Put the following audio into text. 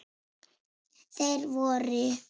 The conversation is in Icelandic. Þeir voru